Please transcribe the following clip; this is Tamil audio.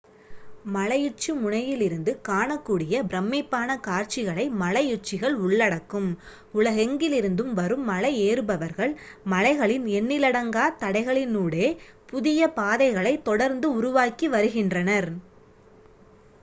மலையுச்சி முனையிலிருந்து காணக்கூடிய பிரமிப்பான காட்சிகளை மலையுச்சிகள் உள்ளடக்கும் உலகெங்கிலிருந்தும் வரும் மலை ஏறுபவர்கள் மலைகளின் எண்ணிலடங்கா தடைகளினூடே புதிய பாதைகளை தொடர்ந்து உருவாக்கி வருகின்றனர்